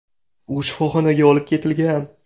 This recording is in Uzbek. U shifoxonaga olib ketilgan.